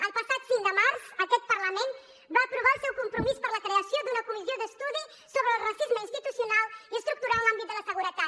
el passat cinc de març aquest parlament va aprovar el seu compromís per a la creació d’una comissió d’estudi sobre el racisme institucional i estructural en l’àmbit de la seguretat